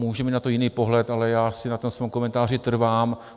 Může mít na to jiný pohled, ale já si na tom svém komentáři trvám.